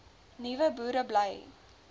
nuwe boere bly